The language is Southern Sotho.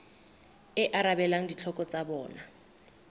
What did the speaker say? e arabelang ditlhoko tsa bona